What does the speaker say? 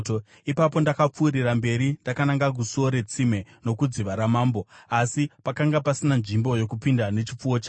Ipapo ndakapfuurira mberi ndakananga kuSuo reTsime nokuDziva raMambo, asi pakanga pasina nzvimbo yokupinda nechipfuwo changu;